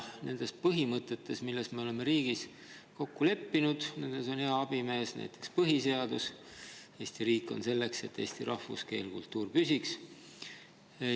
Nende põhimõtete puhul, milles me oleme riigis kokku leppinud, on hea abimees näiteks põhiseadus Eesti riik on selleks, et eesti rahvus, keel ja kultuur püsiks.